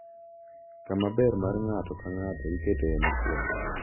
Kama ber mar ng’ato ka ng’ato iketoe mokuongo.